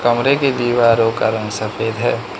कमरे के दीवारो का रंग सफेद है।